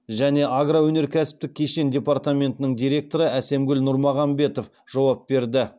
және агроөнеркәсіптік кешен департаментінің директоры әсемгүл нұрмағамбетов жауап берді